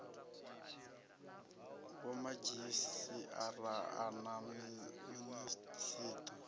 vhomadzhisi ara a na minisiṱa